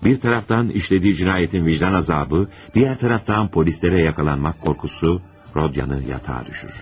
Bir tərəfdən işlədiyi cinayətin vicdan əzabı, digər tərəfdən polislərə yaxalanmaq qorxusu Rodyanı yatağa salır.